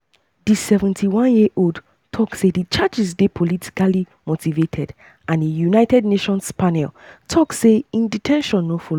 di 71-year-old tok say di charges dey politically motivated and a united nations panel tok say im de ten tion no follow.